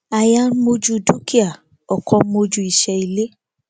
aya ń mojú dúkìá ọkọ ń mojú iṣẹ ilé